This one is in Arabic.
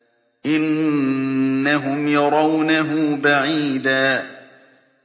إِنَّهُمْ يَرَوْنَهُ بَعِيدًا